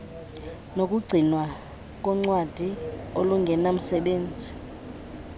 nokugcinwa koncwadi olungenamsebenzi